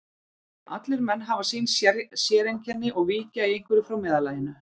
Allir menn hafa sín séreinkenni og víkja í einhverju frá meðallaginu.